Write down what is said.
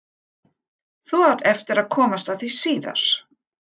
Þú átt eftir að komast að því síðar.